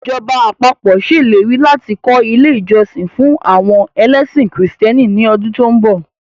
Ìjọba àpapọ̀ ṣèlérí láti kọ́ ilé ìjọsìn fún àwọn ẹlẹ́sìn kìrìsìtẹ́nì ní ọdún tó ń bọ̀